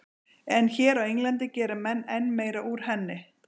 En hér á Englandi gera menn enn meira úr henni.